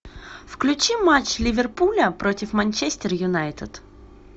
включи матч ливерпуля против манчестер юнайтед